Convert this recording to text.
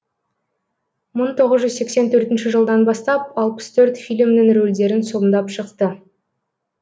мың тоғыз жүз сексен төртінші жылдан бастап алпыс төрт фильмнің рөлдерін сомдап шықты